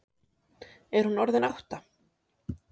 Er hún orðin átta?